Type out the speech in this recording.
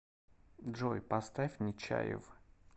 джой поставь нечаев